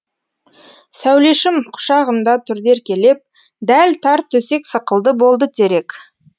сәулешім құшағымда тұрды еркелеп дәл тар төсек сықылды болды терек